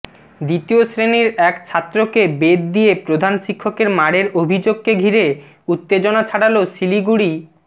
দ্বিতীয় শ্রেণির এক ছাত্রকে বেত দিয়ে প্রধান শিক্ষকের মারের অভিযোগকে ঘিরে উত্তেজনা ছড়াল শিলিগুড়ি